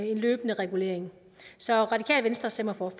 en løbende regulering så radikale venstre stemmer for